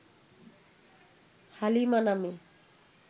হালিমা নামে